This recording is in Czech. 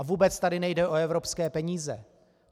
A vůbec tady nejde o evropské peníze.